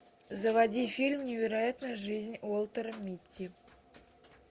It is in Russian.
заводи фильм невероятная жизнь уолтера митти